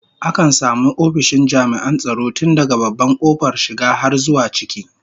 Akan samu ofishin jami'an tsaro tun daga babban kofar shiga har zuwa ciki